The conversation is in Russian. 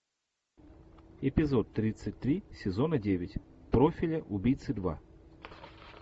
эпизод тридцать три сезона девять профиля убийцы два